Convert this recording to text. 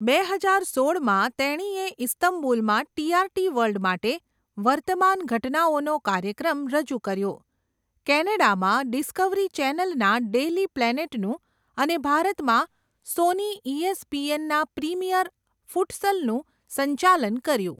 બે હજાર સોળમાં, તેણીએ ઇસ્તંબુલમાં ટીઆરટી વર્લ્ડ માટે વર્તમાન ઘટનાઓનો કાર્યક્રમ રજૂ કર્યો, કેનેડામાં ડિસ્કવરી ચેનલના 'ડેઇલી પ્લેનેટ'નું અને ભારતમાં સોની ઈએસપીએન ના 'પ્રીમિયર ફુટસલ'નું સંચાલન કર્યું.